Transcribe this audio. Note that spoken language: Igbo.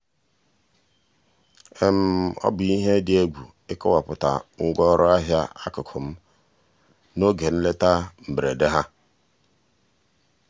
ọ bụ ihe dị ihe dị egwu ịkọwapụta ngwa ọrụ ahịa akụkụ m n'oge nleta mberede ha.